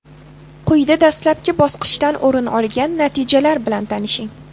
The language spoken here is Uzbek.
Quyida dastlabki bosqichdan o‘rin olgan natijalar bilan tanishing.